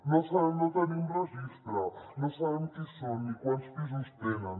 no sabem no en tenim registre no sabem qui són ni quants pisos tenen